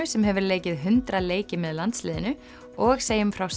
sem hefur leikið hundrað leiki með landsliðinu og segjum frá